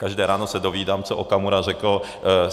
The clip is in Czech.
Každé ráno se dovídám, co Okamura řekl.